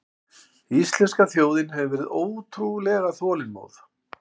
Íslenska þjóðin hefur verið ótrúlega þolinmóð